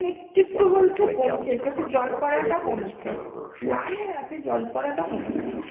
একটু একটু বলছে কমছে চোখের জল পড়াটা কমছে লাল হয়ে আছে জল পড়াতে কমেছে ,